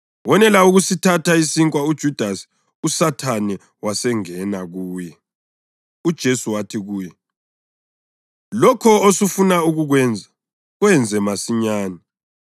Wonela ukusithatha isinkwa uJudasi uSathane wasengena kuye. UJesu wathi kuye, “Lokho osufuna ukukwenza, kwenze masinyane.”